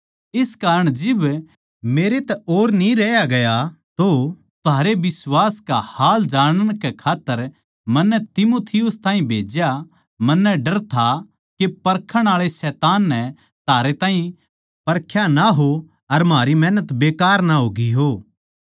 इस कारण जिब मेरै तै और न्ही रहया गया तो थारै बिश्वास का हाल जानण कै खात्तर मन्नै तीमुथियुस ताहीं भेज्या मन्नै डर था के परखण आळे शैतान नै थारे ताहीं परख्या ना हो अर म्हारी मेहनत बेकार ना होगी हो